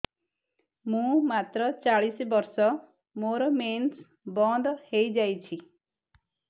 ମୁଁ ମାତ୍ର ଚାଳିଶ ବର୍ଷ ମୋର ମେନ୍ସ ବନ୍ଦ ହେଇଯାଇଛି